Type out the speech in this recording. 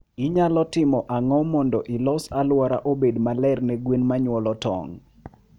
Inyalo timo ang'o mondo ilos alwora obed maler ne gwen manyuolo tong'?